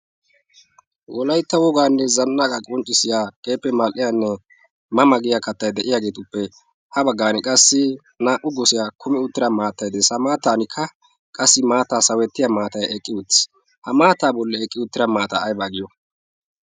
Wolaytta wogaanne zannaqqa qonccissiya keehippe mal'iyaanne ma ma giya kattay de'iyaageetuppe ha baggan qassi naa'u gosiyaa kummi uttida maattay de'ees. A maattankka qassi maattaa sawettiya maatay eqqi uttis. Ha maattaa bolli eqqi uttida maata aybaa giyo?